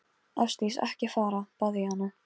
Ásdís, ekki fara, bað ég hana.